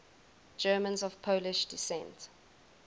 germans of polish descent